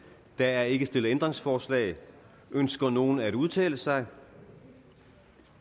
der er ikke stillet ændringsforslag ønsker nogen at udtale sig